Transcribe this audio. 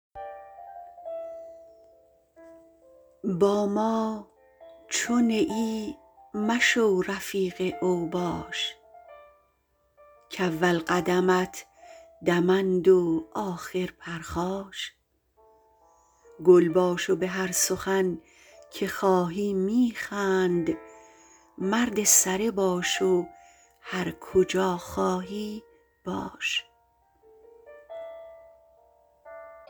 با ما چه نه ای مشو رفیق اوباش کاول قدمت دمند و آخر پرخاش گل باش و بهر سخن که خواهی میخند مرد سره باش و هرکجا خواهی باش